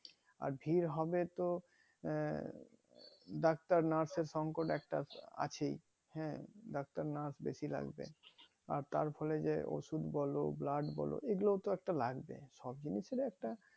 আর ভিড় হবেতো আহ ডাক্তার nurse এর একটা সংকট আছেই হ্যাঁ ডাক্তার nurse বেশি লাগবেই আর তারফলে যে ওষুধ বলো blood বলো এগুলোতো একটা লাগবেই সব জিনিস এর ই একটা